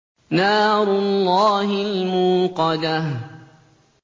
نَارُ اللَّهِ الْمُوقَدَةُ